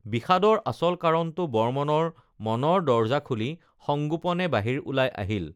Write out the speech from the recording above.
বিষাদৰ আচল কাৰণটো বৰ্মনৰ মনৰ দৰজা খুলি সংগোপনে বাহিৰ ওলাই আহিল